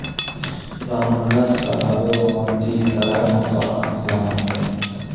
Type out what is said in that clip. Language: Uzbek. Yong‘inning sababi va moddiy zarar miqdori aniqlanmoqda.